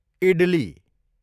idli